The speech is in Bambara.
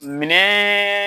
Minɛ